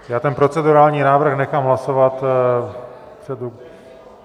Já ten procedurální návrh nechám hlasovat.